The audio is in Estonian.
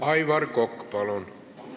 Aivar Kokk, palun!